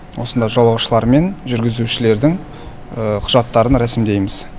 осында жолаушылар мен жүргізушілердің құжаттарын рәсімдейміз